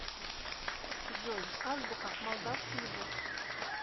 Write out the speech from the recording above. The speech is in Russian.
джой азбука молдавский язык